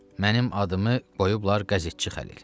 Mənim adımı qoyublar qəzetçi Xəlil.